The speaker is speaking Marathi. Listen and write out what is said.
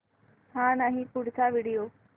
हा नाही पुढचा व्हिडिओ